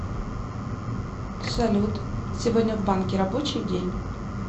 салют сегодня в банке рабочий день